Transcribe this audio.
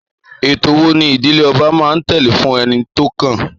Ètò wo ni ìdílé ọba máa ń tẹ̀lé fún ẹni tó kàn?